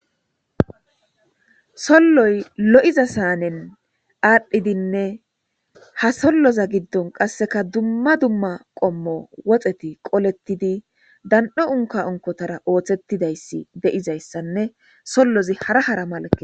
solloy lo7iza saanen aadhdhidinne ha solloza giddon qasseka dumma dumma qommo woxeti qolettidi dan7o unka unka othetidays de'izaysinne solozi hara hara malken